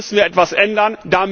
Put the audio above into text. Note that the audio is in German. Da müssen wir etwas ändern.